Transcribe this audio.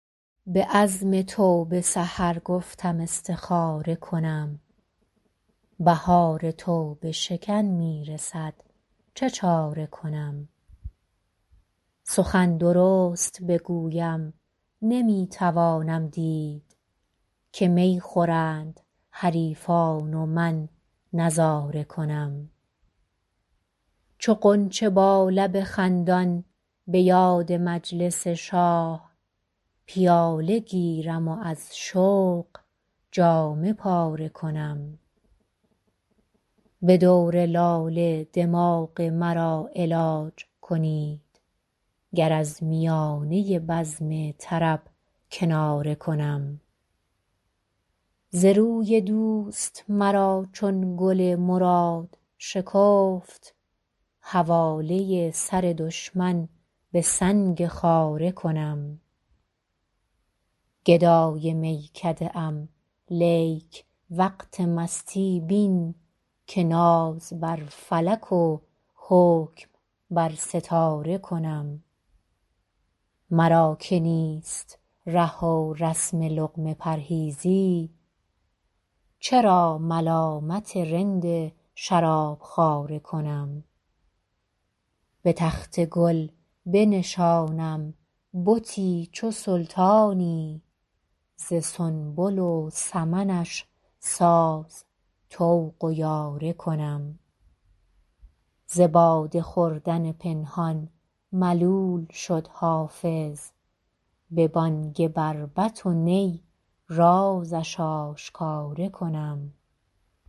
به عزم توبه سحر گفتم استخاره کنم بهار توبه شکن می رسد چه چاره کنم سخن درست بگویم نمی توانم دید که می خورند حریفان و من نظاره کنم چو غنچه با لب خندان به یاد مجلس شاه پیاله گیرم و از شوق جامه پاره کنم به دور لاله دماغ مرا علاج کنید گر از میانه بزم طرب کناره کنم ز روی دوست مرا چون گل مراد شکفت حواله سر دشمن به سنگ خاره کنم گدای میکده ام لیک وقت مستی بین که ناز بر فلک و حکم بر ستاره کنم مرا که نیست ره و رسم لقمه پرهیزی چرا ملامت رند شراب خواره کنم به تخت گل بنشانم بتی چو سلطانی ز سنبل و سمنش ساز طوق و یاره کنم ز باده خوردن پنهان ملول شد حافظ به بانگ بربط و نی رازش آشکاره کنم